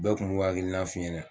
Bɛɛ kun b'u hakilina f'i ɲɛnɛ